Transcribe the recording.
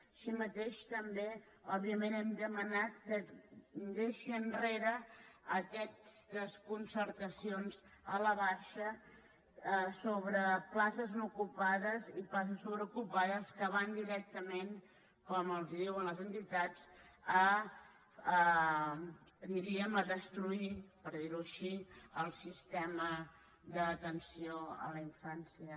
així mateix també òbviament hem demanat que deixi enrere aquestes concertacions a la baixa sobre places no ocupades i places sobreocupades que van directament com els diuen les entitats diríem a destruir per dir ho així el sistema d’atenció a la infància